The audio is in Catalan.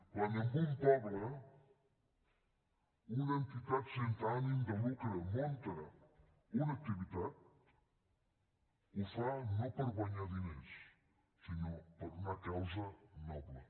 quan en un poble una entitat sense ànim de lucre munta una activitat ho fa no per guanyar diners sinó per una causa noble